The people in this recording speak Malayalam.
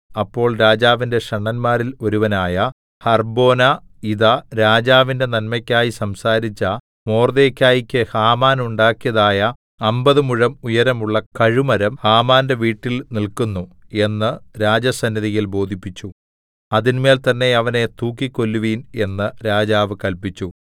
അപ്പോൾ രാജാവിന്റെ ഷണ്ഡന്മാരിൽ ഒരുവനായ ഹർബ്ബോനാ ഇതാ രാജാവിന്റെ നന്മയ്ക്കായി സംസാരിച്ച മൊർദെഖായിക്ക് ഹാമാൻ ഉണ്ടാക്കിയതായ അമ്പത് മുഴം ഉയരമുള്ള കഴുമരം ഹാമാന്റെ വീട്ടിൽ നില്ക്കുന്നു എന്ന് രാജസന്നിധിയിൽ ബോധിപ്പിച്ചു അതിന്മേൽ തന്നേ അവനെ തൂക്കിക്കൊല്ലുവിൻ എന്ന് രാജാവ് കല്പിച്ചു